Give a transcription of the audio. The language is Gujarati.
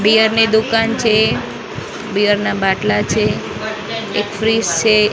બીયર ની દુકાન છે બિયર ના બાટલા છે એક ફ્રીઝ છે.